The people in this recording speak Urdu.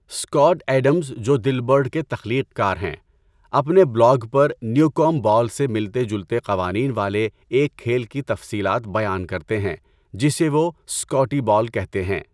اسکاٹ ایڈمز جو دلبرٹ کے تخلیق کار ہیں، اپنے بلاگ پر نیوکومب بال سے ملتے جلتے قوانین والے ایک کھیل کی تفصیلات بیان کرتے ہیں جسے وہ 'اسکاٹی بال' کہتے ہیں۔